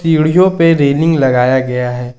सीढ़ियों पे रेलिंग लगाया गया है।